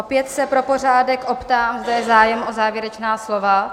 Opět se pro pořádek optám, zda je zájem o závěrečná slova?